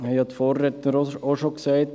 dies haben die Vorredner auch schon gesagt.